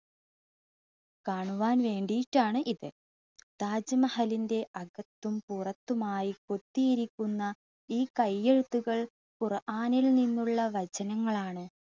കാണുവാൻ വേണ്ടീട്ടാണ് ഇത്. താജ്മഹലിൻ്റെ അകത്തും പുറത്തുമായി കൊത്തിയിരിക്കുന്ന ഈ കൈയ്യെഴുത്തുകൾ ഖുറാനിൽ നിന്നുള്ള വചനങ്ങൾ ആണ്.